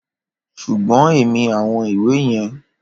Ṣùgbọ́n èmi àwọn ìwé yẹn